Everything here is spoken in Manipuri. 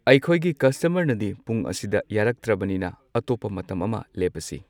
ꯑꯩꯈꯣꯏꯒꯤ ꯀꯁꯇꯃꯔꯅꯗꯤ ꯄꯨꯡ ꯑꯁꯤꯗ ꯌꯥꯔꯛꯇ꯭ꯔꯕꯅꯤꯅ ꯑꯇꯣꯞꯄ ꯃꯇꯝ ꯑꯃ ꯂꯦꯞꯄꯁꯤ꯫